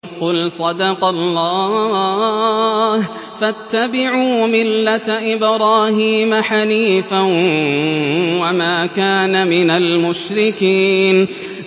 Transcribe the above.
قُلْ صَدَقَ اللَّهُ ۗ فَاتَّبِعُوا مِلَّةَ إِبْرَاهِيمَ حَنِيفًا وَمَا كَانَ مِنَ الْمُشْرِكِينَ